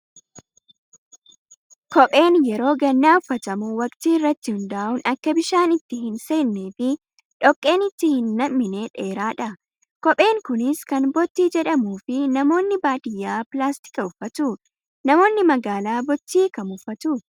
Kopheen yeroo gannaa uffatamu waqtii irratti hundaa'uun akka bishaan itti hin seennee fi dhoqqeen itti hin nam'ine dheeraadha. Kopheen kunis kan bottii jedhamuu fi namoonni baadiyyaa pilaastika uffatu. Namoonni magaalaa bottii kam uffatu?